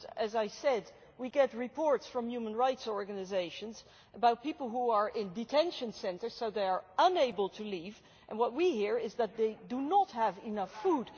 But, as I said, we get reports from human rights organisations about people who are in detention centres so they are unable to leave and what we hear is that they do not have enough food.